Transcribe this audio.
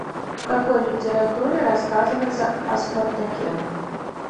в какой литературе рассказывается о спартаке